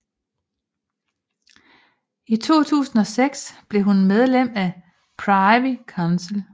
I 2006 blev hun medlem af Privy Council